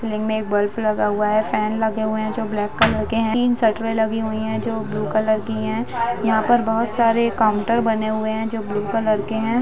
Ceiling में एक bulb लगा हुआ है फैन लगे हुए है जो ब्लैक कलर के है तीन शटरें लगी हुई है जो ब्लू कलर के है यहाँ पर बहुत सारे काउंटर बने हुए है जो ब्लू कलर के है।